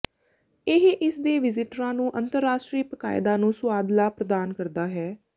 ਇਹ ਇਸਦੇ ਵਿਜ਼ਿਟਰਾਂ ਨੂੰ ਅੰਤਰਰਾਸ਼ਟਰੀ ਪਕਾਇਦਾ ਨੂੰ ਸੁਆਦਲਾ ਪ੍ਰਦਾਨ ਕਰਦਾ ਹੈ